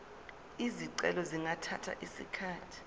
izicelo zingathatha isikhathi